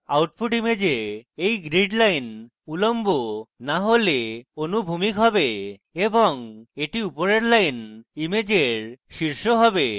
output image এই grid lines নয়তো উল্লম্ব না হলে অনুভূমিক হবে এবং এটি উপরের lines ইমেজের শীর্ষ হবে